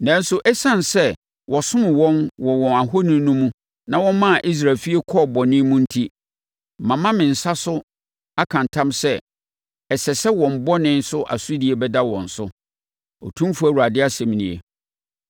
Nanso, ɛsiane sɛ wɔsomm wɔn wɔ wɔn ahoni no mu na wɔmaa Israel efie kɔɔ bɔne mu enti, mama me nsa so aka ntam sɛ, ɛsɛ sɛ wɔn bɔne so asodie bɛda wɔn so. Otumfoɔ Awurade asɛm nie